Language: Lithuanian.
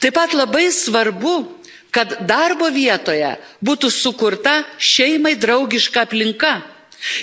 Taip pat labai svarbu, kad darbo vietoje būtų sukurta šeimai draugiška aplinka